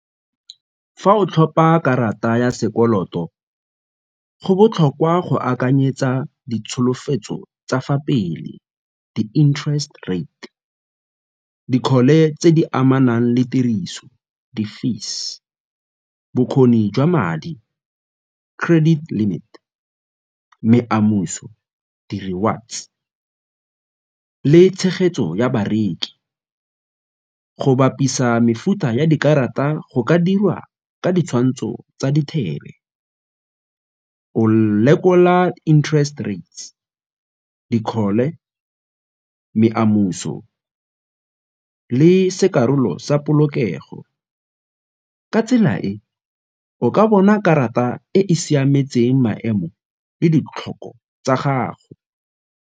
Fa o tlhopa karata ya sekoloto, go botlhokwa go akanyetsa ditsholofetso tsa fa pele di-interest rate, dikgole tse di amanang le tiriso di-fees, bokgoni jwa madi credit limit, di rewards le tshegetso ya bareki. Go bapisa mefuta ya dikarata go ka dirwa ka ditshwantsho tsa o lekola interest rates, dikgole, le se karolo sa polokego. Ka tsela e, o ka bona karata e e siametseng maemo le ditlhoko tsa gago.